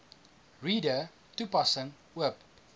reader toepassing oop